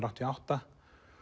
áttatíu og átta